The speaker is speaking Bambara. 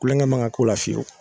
Kulonkɛ manga k'o la fiyewu